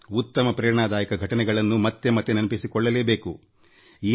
ಉತ್ತಮ ಸ್ಫೂರ್ತಿದಾಯಕ ಘಟನೆಗಳನ್ನು ಮತ್ತೆ ಮತ್ತೆ ನೆನಪಿಸಿಕೊಳ್ಳಬೇಕಾಗುತ್ತದೆ